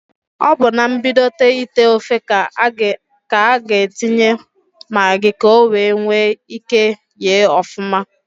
Ọ bụ na mbidota ite ofe k'a n'atinye magị k'owee nwee ike yee ọfụma.